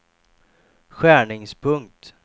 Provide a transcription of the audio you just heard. skärningspunkt